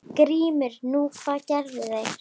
GRÍMUR: Nú, hvað gerðu þeir?